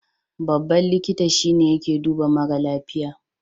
Babban likita shi yake duba mara lafiya.